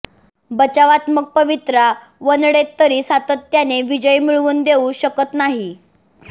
बचावात्मक पवित्रा वनडेत तरी सातत्याने विजय मिळवून देऊ शकत नाही